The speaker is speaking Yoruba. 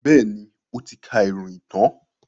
Bẹ́ẹ̀ni, ó ti ka ìròyìn tán.